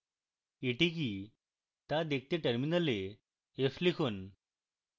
এটি কি তা দেখতে terminal f লিখুন